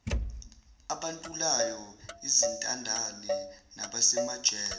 abantulayo izintandane nabasemajele